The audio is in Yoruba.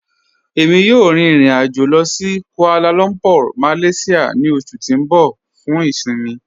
Ẹ̀mi yóò rín ìrìn-àjọ̀ lọ sí Kuala Lumpur, Malaysia ni oṣù tí n bọ̀ fún ìṣinmí.